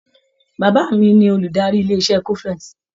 Bàbá mi ni olùdarí ilé-iṣé cofex.